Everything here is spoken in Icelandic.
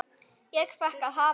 Ég fékk að hafa